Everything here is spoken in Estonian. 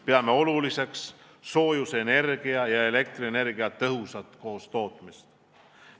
Peame oluliseks soojusenergia ja elektrienergia tõhusat koostootmist.